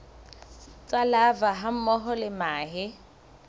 tsa larvae hammoho le mahe